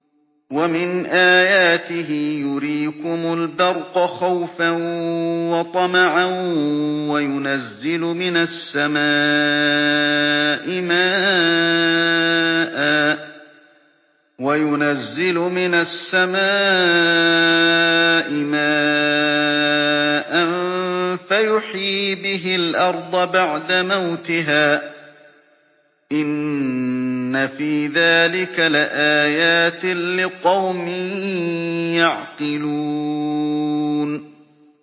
وَمِنْ آيَاتِهِ يُرِيكُمُ الْبَرْقَ خَوْفًا وَطَمَعًا وَيُنَزِّلُ مِنَ السَّمَاءِ مَاءً فَيُحْيِي بِهِ الْأَرْضَ بَعْدَ مَوْتِهَا ۚ إِنَّ فِي ذَٰلِكَ لَآيَاتٍ لِّقَوْمٍ يَعْقِلُونَ